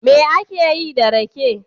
Me ake yi da rake?